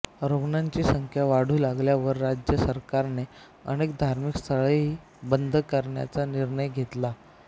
रुग्णांची संख्या वाढू लागल्यावर राज्य सरकारने अनेक धार्मिक स्थळेही बंद करण्याचा निर्णय घेतला